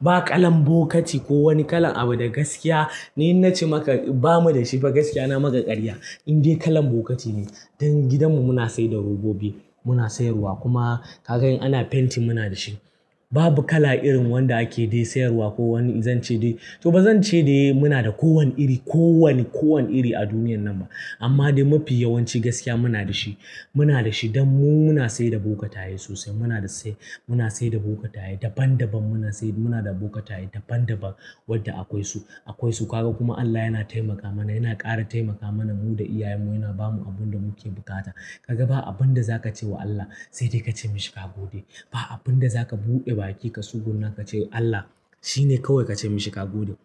Ba kalan bokati ko wani kala abu da gaskiya ni inna ce maka ba mu da shi ba. Gaskiya, na maka ƙarya in dai kalan bokati ne. Don gidanmu muna sayar da robobi, muna sayarwa kuma kaga in ana fenti muna da shi. Babu kala irin wanda ake sayarwa ko wani in zan ce dai to ba zan ce dai muna da kowane iri a duniyar nan ba. Amma dai mafi yawanci gaskiya muna da shi. Don mu muna sayar da bokatai sosai. Muna sayar da bokatai daban daban. Muna sayar da bokatai daban daban wadda akwai su. Kaga kuma Allah yana taimaka mana, yana ƙara taimaka mana mu da iyayenmu, yana ba mu abin da muke bukata. Kaga ba abin da za ka ce wa Allah sai dai ka ce mishi ka gode. Ba abin da za ka buɗe baki, ka suguna ka ce Allah shine kawai ka ce mishi ka gode.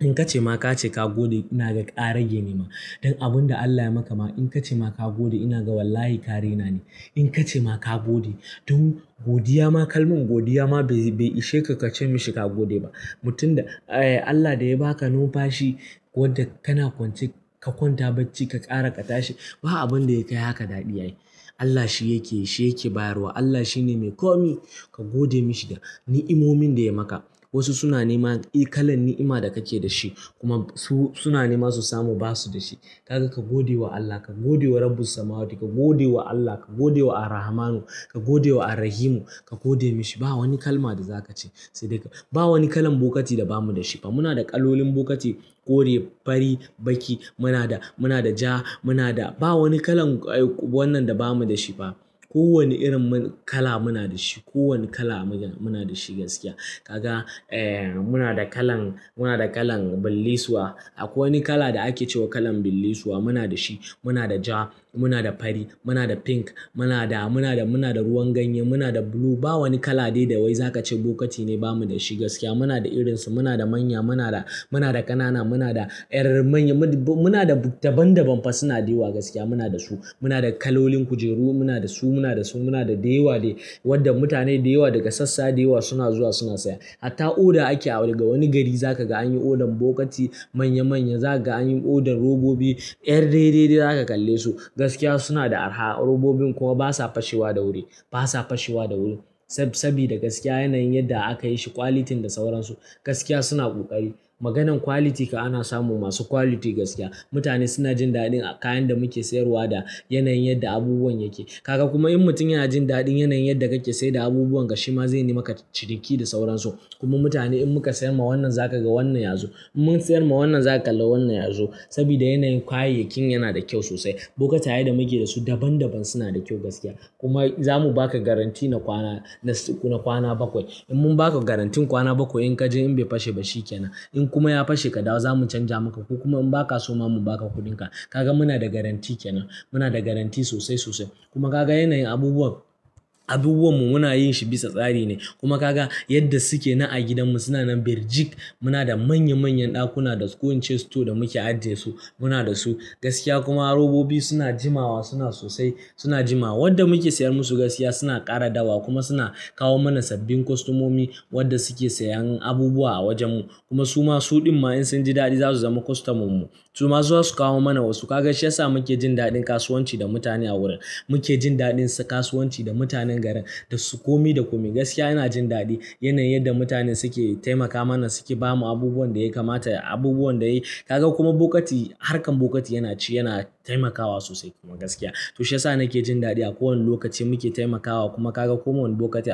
In ka ce ma ka ce ka gode, ina ga ƙarage ne ma. Don abin da Allah ya yi maka ma in ka ce ma ka gode ina ga wallahi ƙa raina ne. In ka ce ma ka gode don godiya ma kalman godiya ma bai ishe ka ka ce mishi ka gode ba. Mutum da Allah da ya ba ka numfa shi wadda kana kwance ka kwanta bacci ka ƙara ka tashi, ba abin da ya kai haka daɗi ay. Allah shi yake, shi yake bayarwa. Allah shine mai ko me ka gode mishi da ni'imomin da ya yi maka. Wasu suna neman kalan ni'ima da kake da shi kuma su suna neman su samu basu da shi. Kaga ka gode wa Allah, ka gode wa Rabbus samawati, ka gode wa Allah, ka gode wa Ar-Rahmanu, ka gode wa Ar-Rahimu, ka gode mishi. Ba wani kalma da za ka ce sai dai ba wani kalan bokati da ba mu da shi ba. Muna da kalolin bokati, kore, fari, baƙi. Muna da ja, muna da ba wani kalan wannan da ba mu da shi ba. Ko wane irin kala muna da shi. Ko wane kala muna da shi gaskiya. Kaga muna da kalan, muna da kalan bilisuwa. Akwai wani kala da ake cewa kalan bilisuwa muna da shi. Muna da ja, muna da fari, muna da pink, muna da ruwan ganye, muna da blue. Ba wani kala dai da wai za ka ce bokati ne ba mu da shi. Gaskiya muna da irin su, muna da manya, muna da ƙanana, muna da yan manya, muna da daban daban fa suna da yawa gaskiya muna da su. Muna da kalolin kujeru muna da su, muna da su, muna da dayawa dai wadda mutane da yawa daga sassa da yawa suna zuwa suna saya. Hatta oda ake a wani gari za ka ga an yi odan bokati manya manya, za ka ga an yi odar robobi 'yar daidai za ka kalle su. Gaskiya suna da arha, robobin kuma basa fashewa da wuri, basa fashewa da wuri. Sabida gaskiya yanayin yadda aka yi shi, ƙwalitin da sauransu gaskiya suna ƙoƙari. Maganan ƙwaliti kam ana samu masu ƙwaliti gaskiya. Mutane suna jin daɗin kayan da muke sayarwa da yanayin yadda abubuwan yake. Kaga kuma in mutum ya jin daɗin yanayin yadda kake sayar da abubuwan ka shi ma zai yimaka ciniki da sauransu. Kuma mutane in muka sayar ma wannan za ka ga wannan yazo. In mun sayar ma wannan za ka kalla wannan yazo sabida yanayin kayayyakin yana da kyau sosai. Bokatai da muke da su daban daban suna da kyau gaskiya. Kuma za mu ba ka garantti na kwana bakwai. In mun ba ka garanttin kwana bakwai in ka ji in bai fashe ba shi ƙenan. In kuma ya fashe kaɗawo za mu canja maka ko kuma in ba ka so ma mu ba ka kuɗinka. Kaga muna da garantti ƙenan. Muna da garantti sosai sosai. Kuma kaga yanayin abubuwanmu muna yin shi bisa tsari ne. Kuma kaga yadda suke na a gidanmu suna nan birjik. Muna da manya manyan ɗakuna da ƙo in ce store da muke ajiye su muna da su gaskiya. Kuma robobi suna jimawa, suna sosai, suna jimawa. Wadda muke sayar musu gaskiya suna ƙara dawowa kuma suna kawo mana sabbin kostamomi wadda suke sayan abubuwa a wajenmu. Kuma su ma suɗin ma in sun ji daɗi za su zama kostamanmu. Su ma za su kawo mana wasu. Kaga shi ya sa muke jin daɗin kasuwanci da mutane a wurin. Muke jin daɗin kasuwanci da mutanen garin, da su ƙomi da ƙomi gaskiya ina jin daɗi yanayin yadda mutane suke taimaka mana, suke ba mu abubuwan da ya kamata, abubuwan da ya Kaga kuma bokati harkar bokati yana ci yana taimakawa sosai kuma gaskiya. To shi ya sa nake jin daɗi a kowane lokaci muke taimakawa kuma kaga koma wani bokati.